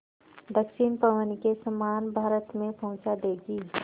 दक्षिण पवन के समान भारत में पहुँचा देंगी